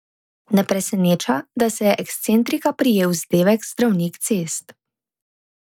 Ne preseneča, da se je ekscentrika prijel vzdevek Zdravnik cest.